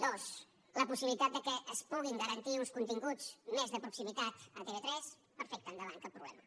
dos la possibilitat que es puguin garantir uns continguts més de proximitat a tv3 perfecte endavant cap problema